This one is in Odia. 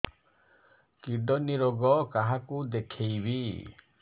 କିଡ଼ନୀ ରୋଗ କାହାକୁ ଦେଖେଇବି